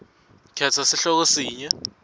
khetsa sihloko sinye